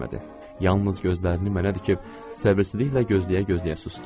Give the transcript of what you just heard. Yalnız gözlərini mənə dikib səbirsizliklə gözləyə-gözləyə susdu.